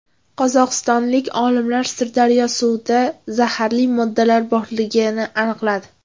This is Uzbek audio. Qozog‘istonlik olimlar Sirdaryo suvida zaharli moddalar borligini aniqladi.